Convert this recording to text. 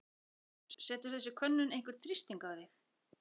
Hugrún: Setur þessi könnun einhvern þrýsting á þig?